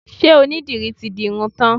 Ṣe onídìrí ti di irun tán?